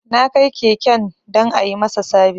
Na kai keken don a yi masa sabis